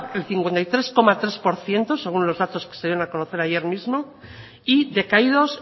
el cincuenta y tres coma tres por ciento según los datos que se dieron a conocer ayer mismo y decaídos